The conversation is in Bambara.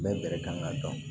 Bɛɛ bɛrɛ kan ka dɔn